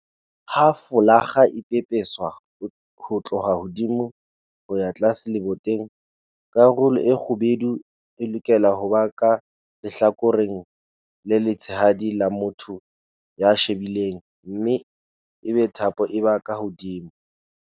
Ha folakga e pepeswa ho tloha hodimo ho ya tlase leboteng, karolo e kgubedu e lokela ho ba ka lehlakoreng le letshehadi la motho ya e shebileng mme ebe thapo e ba ka hodimo.